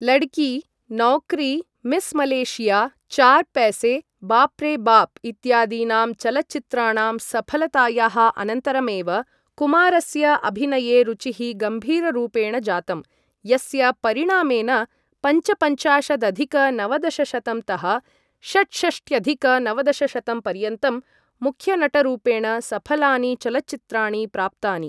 लडकी, Naukri, Miss Malaysia, Char Paise, Baap Re Baap इत्यादीनां चलच्चित्राणां सफलतायाः अनन्तरमेव कुमारस्य अभिनये रुचिः गम्भीररूपेण जातं, यस्य परिणामेन पञ्चपञ्चाशदधिक नवदशशतं तः षट्षष्ट्यधिक नवदशशतं पर्यन्तं मुख्यनटरूपेण सफलानि चलच्चित्राणि प्राप्तानि।